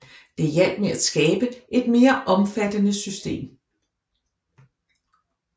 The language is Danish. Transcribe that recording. Det hjalp med at skabe et mere omfattende system